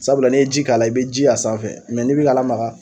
Sabula ne ye ji k'a la e be ji y'a sanfɛ mɛ ni be k'a lamaga